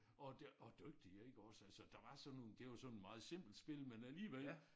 Og og dygtig iggås altså der var sådan nogle det var sådan meget simpelt spil men alligevel